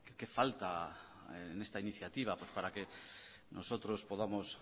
qué falta en esta iniciativa para que nosotros podamos